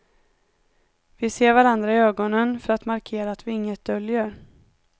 Vi ser varandra i ögonen för att markera att vi inget döljer.